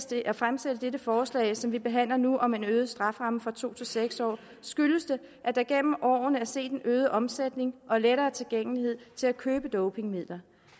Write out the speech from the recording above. til at fremsætte dette forslag som vi behandler nu om en øget strafferamme fra to til seks år skyldes det at der gennem årene er set en øget omsætning og lettere tilgængelighed til at købe dopingmidler